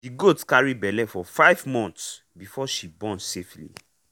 the goat carry belle for five months before she born safely.